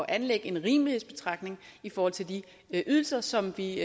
anlægge en rimelighedsbetragtning i forhold til de ydelser som vi